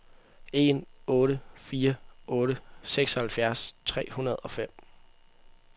en otte fire otte seksoghalvfjerds tre hundrede og fem